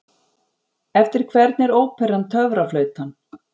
Eftir hvern er óperan Töfraflautan?